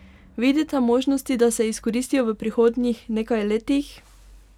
Vidite možnosti, da se izkoristijo v prihodnjih nekaj letih?